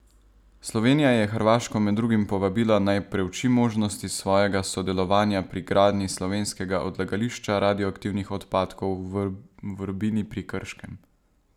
Slovenija je Hrvaško med drugim povabila, naj preuči možnosti svojega sodelovanja pri gradnji slovenskega odlagališča radioaktivnih odpadkov v Vrbini pri Krškem.